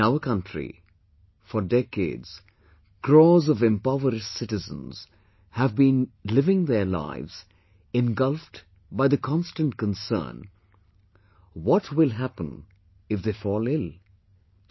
in our country, for decades, crores of impoverished citizens have been living their lives engulfed by the constant concern what will happen if they fall ill...